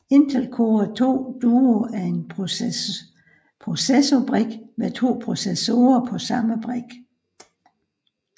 Intel Core 2 Duo er en processorbrik med to processorer på samme brik